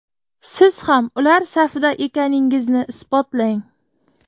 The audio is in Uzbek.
Siz ham ular safida ekaningizni isbotlang!